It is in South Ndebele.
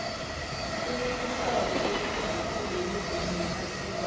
kunemihlobo eminingi khulu yemivumo ephasini